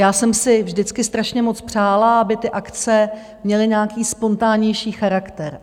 Já jsem si vždycky strašně moc přála, aby ty akce měly nějaký spontánnější charakter.